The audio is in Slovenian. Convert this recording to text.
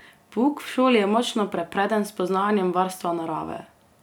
Pouk v šoli je močno prepreden s spoznavanjem varstva narave.